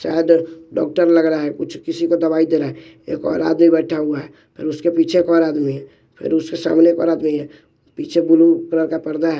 चादर डॉक्टर लग रहा है कुछ किसी को दवाई दे रहा है एक और आदमी बैठा हुआ है फिर उसके पीछे एक और आदमी है फिर उसके सामने एक और आदमी है पीछे बुलु कलर का पर्दा है।